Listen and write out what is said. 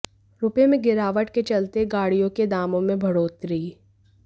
रुपए में गिरावट के चलते गाड़ियों के दामों में बढ़ोतरी